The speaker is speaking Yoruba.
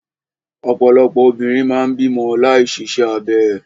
Ọ̀pọ̀lọpọ̀ obìnrin máa ń bímọ láì ṣiṣẹ́ abẹ.